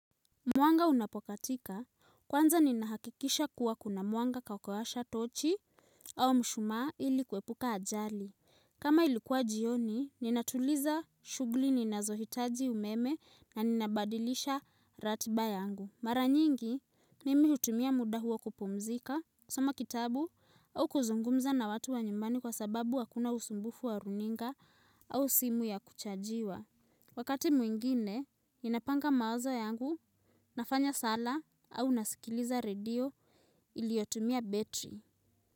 Mwanga unapokatika, kwanza ninahakikisha kuwa kuna mwanga kakowasha tochi au mshumaa ili kwepuka ajali. Kama ilikuwa jioni, ninatuliza shugli ninazohitaji umeme na ninabadilisha ratiba yangu. Maranyingi, nimi hutumia muda huo kupumzika, soma kitabu au kuzungumza na watu wa nyumbani kwa sababu wakuna usumbufu wa runinga au simu ya kuchajiwa. Wakati mwingine, ninapanga mawaza yangu, nafanya sala au nasikiliza radio iliotumia betri.